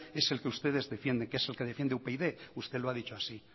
es el que ustedes defienden que es el que defiende upyd usted lo ha dicho así